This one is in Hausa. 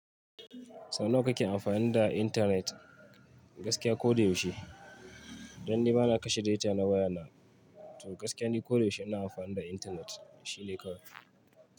Sau nawa kake amfani da intanet gaskiya ko da yaushe? Dan ni bana kashe data na wayana, to gaskiya ni ko da yaushe ina amfani da intanet shine kawai.